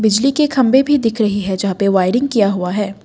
बिजली के खंभे भी दिख रहे है जहां पे वायरिंग किया हुआ है ।